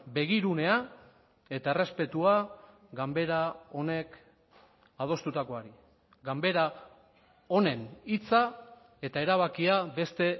begirunea eta errespetua ganbera honek adostutakoari ganbera honen hitza eta erabakia beste